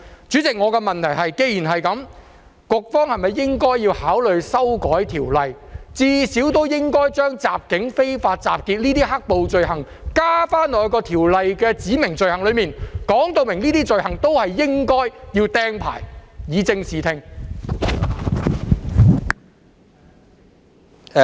主席，我的問題是，既然如此，局方是否應該考慮修改《條例》，至少將襲警和非法集結等"黑暴"罪行納入《條例》的指明罪行中，表明干犯這些罪行也應要被"釘牌"，以正視聽？